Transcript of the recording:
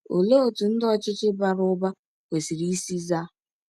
Olee otú ndị ọchịchị bara ụba kwesịrị isi zaa?